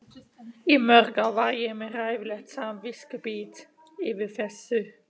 Í mörg ár var ég með hræðilegt samviskubit yfir þessu.